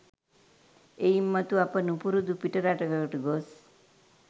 එයින් මතු, අප නුපුරුදු පිටරටකට ගොස්